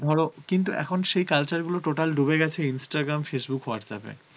ধরো কিন্তু এখন সেই culture গুলো total ডুবে গেছে Instagram, Facebook, Whatsapp এ